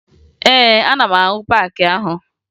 Ee, ana m ahụ paakị ahụ